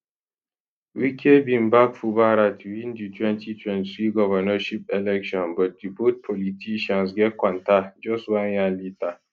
wike bin back fubara to win di 2023 governorship election but di both politicians get kwanta just one year later